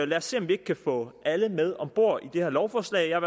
lad os se om vi ikke kan få alle med om bord i det her lovforslag jeg